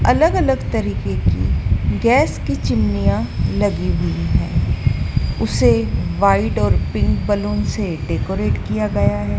अलग अलग तरीके की गैस की चिमनीयां लगी हुई है उसे व्हाइड और पिंक बलून से डेकोरेट किया गया है।